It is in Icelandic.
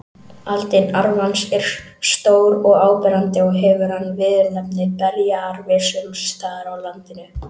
Aldin arfans eru stór og áberandi og hefur hann viðurnefnið berjaarfi sums staðar á landinu.